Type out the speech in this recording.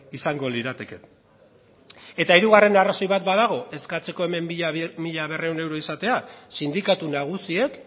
izango lirateke eta hirugarren arrazoi bat badago eskatzeko hemen mila berrehun euro izatea sindikatu nagusiek